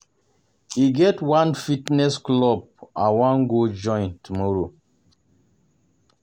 E get one fitness club I wan go join tomorrow